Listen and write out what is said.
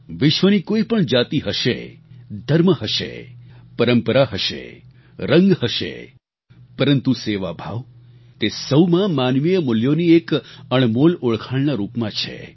વિશ્વની કોઈપણ જાતિ હશે ધર્મ હશે પરંપરા હશે રંગ હશે પરંતુ સેવાભાવ તે સહુમાં માનવીય મૂલ્યોની એક અણમોલ ઓળખાણના રૂપમાં છે